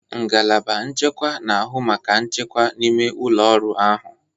Ngalaba nchekwa na-ahụ maka nchekwa n'ime ụlọ ọrụ ahụ.